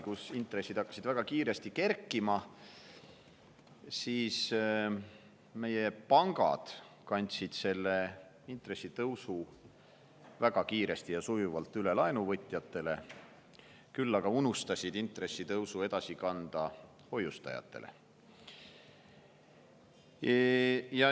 Siis hakkasid intressid väga kiiresti kerkima, meie pangad kandsid selle intressitõusu väga kiiresti ja sujuvalt üle laenuvõtjatele, küll aga unustasid selle edasi kanda hoiustajatele.